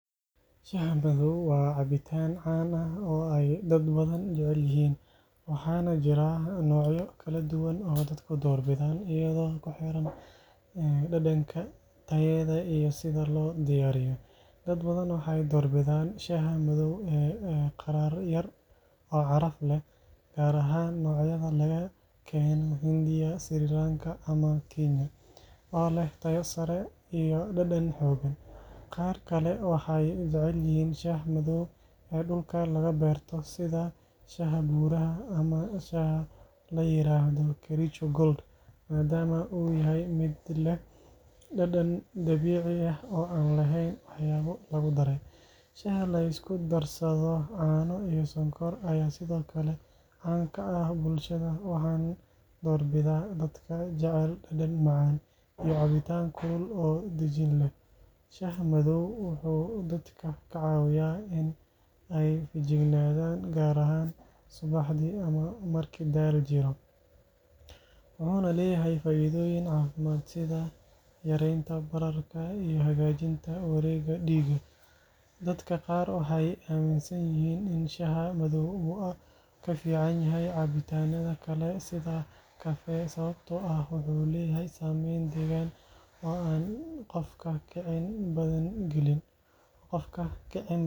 Shaaha madow waa cabitaan caan ah oo ay dad badan jecel yihiin, waxaana jira noocyo kala duwan oo dadku doorbidaan iyadoo ku xiran dhadhanka, tayada iyo sida loo diyaariyo. Dad badan waxay doorbidaan shaaha madow ee qadhaadh yar oo caraf leh, gaar ahaan noocyada laga keeno Hindiya, Sri Lanka ama Kenya oo leh tayo sare iyo dhadhan xooggan. Qaar kale waxay jecel yihiin shaaha madow ee dhulka laga beerto sida shaaha Buuraha ama shaaha la yiraahdo “Kericho Gold” maadaama uu yahay mid leh dhadhan dabiici ah oo aan lahayn waxyaabo lagu daray. Shaaha la isku darsado caano iyo sonkor ayaa sidoo kale caan ka ah bulshada, waxaana doorbida dadka jecel dhadhan macaan iyo cabitaan kulul oo dejin leh. Shaaha madow wuxuu dadka ka caawiyaa in ay feejignaadaan, gaar ahaan subaxdii ama marka daal jiro, wuxuuna leeyahay faa’iidooyin caafimaad sida yareynta bararka iyo hagaajinta wareegga dhiigga. Dadka qaar waxay aaminsan yihiin in shaaha madow uu ka fiican yahay cabitaanada kale sida kafee sababtoo ah wuxuu leeyahay saameyn deggan oo aan qofka kicin badan gelin.